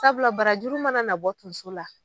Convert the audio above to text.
Sabula barajuru mana nabɔ tonso la